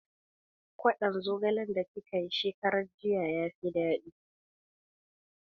Kwaɗon zogale da kika yi shekaran jiya ya fi daɗi